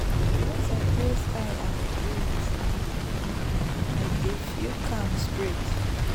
once i close eye and breathe deep i dey feel calm straight.